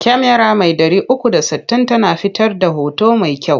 Kyamara mai 360 tana fitar da hoto mai kyau.